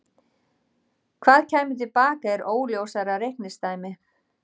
Hvað kæmi til baka er óljósara reikningsdæmi.